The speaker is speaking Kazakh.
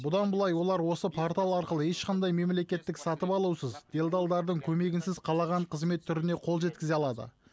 бұдан былай олар осы портал арқылы ешқандай мемлекеттік сатып алусыз делдардардың көмегінсіз қалаған қызмет түріне қол жеткізе алады